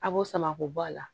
A b'o sama k'o bɔ a la